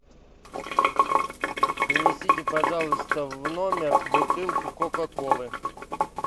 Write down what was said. принесите пожалуйста в номер бутылку кока колы